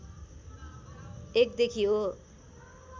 १ देखि हो